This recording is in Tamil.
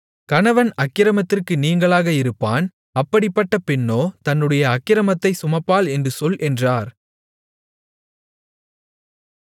கணவன் அக்கிரமத்திற்கு நீங்கலாக இருப்பான் அப்படிப்பட்டப் பெண்ணோ தன்னுடைய அக்கிரமத்தைச் சுமப்பாள் என்று சொல் என்றார்